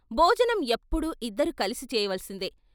భోజనం ఎప్పుడూ ఇద్దరూ కలిసి చేయవలసిందే.